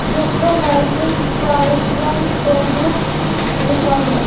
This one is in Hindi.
जिस पर नर्सिंग पार्यटन केंद्र लिखा है।